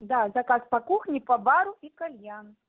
да заказ по кухне по бару и кальян